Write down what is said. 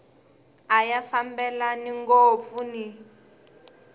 a ya fambelani ngopfu ni